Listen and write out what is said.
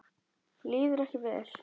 Líður ekki vel.